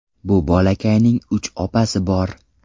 Bu bolakayning uch opasi bor.